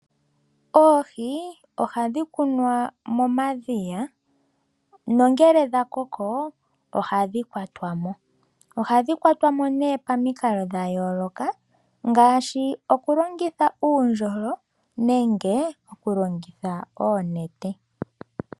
Oohi ohadhi kunwa momadhiya nongele dhakoko ohadhi kwatwamo, ohadhi kwatwamo nee pamikalo dhayooloka ngaashi okulongitha uundjolo nenge okulongitha oonete.